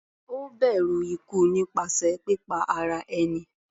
Ó bẹ̀rù ikú nípasẹ̀ pípa ara ẹni.